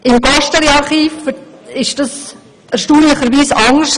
Im Gosteli-Archiv ist das erstaunlicherweise anders.